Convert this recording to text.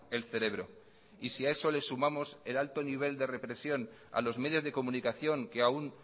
el cerebro y si a eso le sumamos el alto nivel de represión a los medios de comunicación que aún